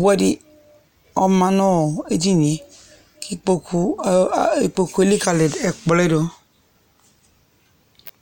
bʋɛ di ɔma nʋ edini e kʋ ikpokʋ elikali ɛkplɔ ɛ dʋ